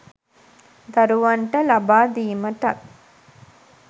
දරුවන්ට ලබා දීමටත්